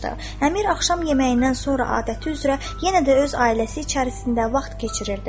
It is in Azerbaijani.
Əmir axşam yeməyindən sonra adəti üzrə yenə də öz ailəsi içərisində vaxt keçirirdi.